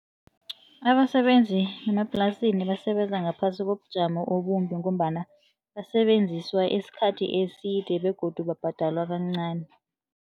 Abasebenzi bemaplasini basebenza ngaphasi kobujamo obumbi ngombana basebenziswa isikhathi eside begodu babhadalwa kancani.